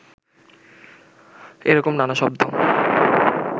এরকম নানা শব্দ